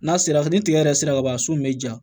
N'a sera ni tigɛ yɛrɛ sera ka ban so in be ja